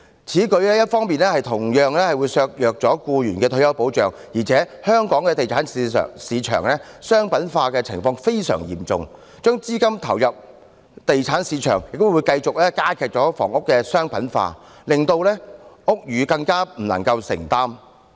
此舉一方面同樣削弱了僱員的退休保障，而且香港地產市場商品化的情況非常嚴重，把資金投入地產市場亦會繼續加劇房屋的商品化，令樓價更無法承擔。